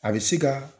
A bɛ se ka